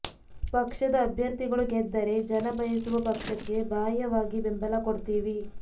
ಪಕ್ಷದ ಅಭ್ಯರ್ಥಿಗಳು ಗೆದ್ದರೆ ಜನ ಬಯಸುವ ಪಕ್ಷಕ್ಕೆ ಬಾಹ್ಯವಾಗಿ ಬೆಂಬಲ ಕೋಡ್ತಿವಿ